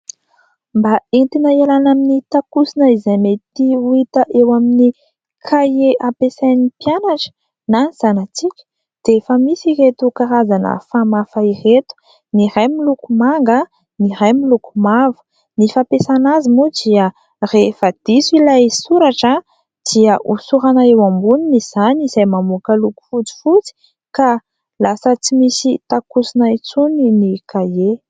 Mba entina hialana amin'ny takosona izay mety ho hita eo amin'ny kahie ampiasain'ny mpianatra na ny zanatsika, dia efa misy ireto karazana famafa ireto : ny iray miloko manga, ny iray miloko mavo. Ny fampiasana azy moa dia rehefa diso ilay soratra, dia hosorana eo amboniny izany, izay mamoaka loko fotsifotsy ka lasa tsy misy takosona intsony ny kahie.